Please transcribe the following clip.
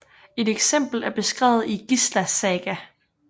Et eksempel er beskrevet i Gísla saga